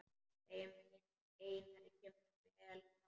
Þeim Einari kemur vel saman.